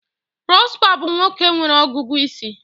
Prosper bụ nwoke nwere ọgụgụ isi